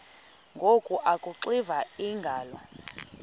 ngoku akuxiva iingalo